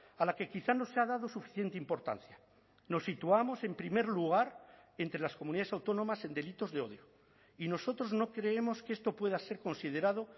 a la que quizá no se ha dado suficiente importancia nos situamos en primer lugar entre las comunidades autónomas en delitos de odio y nosotros no creemos que esto pueda ser considerado